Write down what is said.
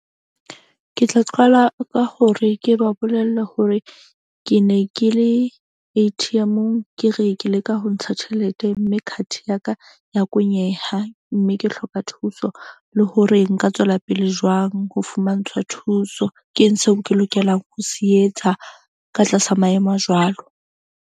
Ke tla qala ka hore ke ba bolelle hore ke ne ke le A_T_M-ong. Ke re ke leka ho ntsha tjhelete mme card ya ka ya kwenyeha. Mme ke hloka thuso le hore nka tswela pele jwang ho fumantshwa thuso. Ke eng seo ke lokelang ho se etsa ka tlasa maemo a jwalo?